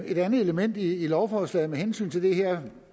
et andet element i lovforslaget med hensyn til det her